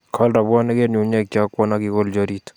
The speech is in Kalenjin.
Kol rabwonik eng nyung'unyek che akwon akikolji oriit